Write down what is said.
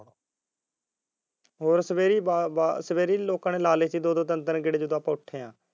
ਹਾਂ ਸਵੇਰੇ ਲਾ ਲਈ ਸੀ ਲੋਕਾਂ ਨੇ ਦੋ ਦੋ ਤਿੰਨ ਤਿੰਨ ਗੇੜੇ ਜਦੋਂ ਆਪਾ ਉੱਠੇ ਐ